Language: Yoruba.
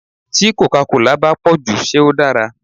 Tí còcá colà bá pòjù ṣé ó dára.